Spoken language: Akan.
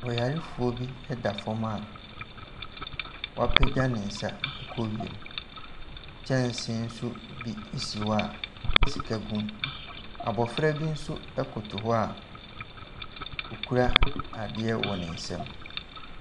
Ɔyarefoɔ bi da fam a wapagya ne nsa kɔ wiem. Kyɛnse so bi si hɔ a sika gu. Abofra bi nso koto hɔ a okura adeɛ wɔ ne nsam.